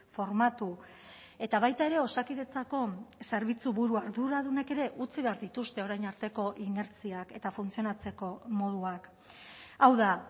formatu eta baita ere osakidetzako zerbitzuburu arduradunek ere utzi behar dituzte orain arteko inertziak eta funtzionatzeko moduak hau da